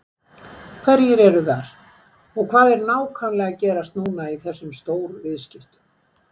Hverjir eru þar og hvað er nákvæmlega að gerast núna í þessum stóru viðskiptum?